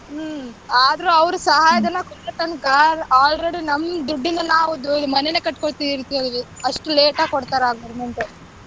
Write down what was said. ಹ್ಮ್ ಆದ್ರೂ ಅವ್ರ ಸಹಾಯಧನ ಕೊಡೊತನಕ already ನಮ್ ದುಡ್ಡಿಂದ ನಾವ್ ಮನೆನ ಕಟ್ಕೊಳ್ತಿವಿ ಅಷ್ಟು late ಆಗಿ ಕೊಡ್ತಾರೆ government .